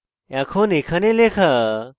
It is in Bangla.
এখন এখানে